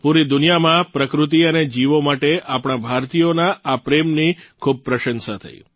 પૂરી દુનિયામાં પ્રકૃતિ અને જીવો માટે આપણા ભારતીયોના આ પ્રેમની ખૂબ પ્રશંસા થઇ